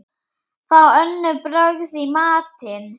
Fá önnur brögð í matinn.